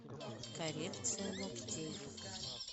коррекция ногтей